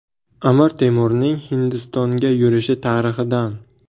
Amir Temurning Hindistonga yurishi tarixidan.